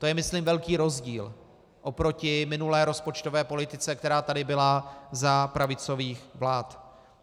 To je, myslím, velký rozdíl oproti minulé rozpočtové politice, která tady byla za pravicových vlád.